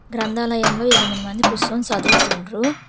గ్రంథాలయంలో ఎనిమిది మంది కుసోని సదువుతుండ్రు.